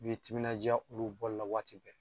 I bi timinanja olu bɔli la waati bɛɛ.